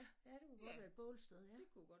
Ja det kunne godt være et bålsted ja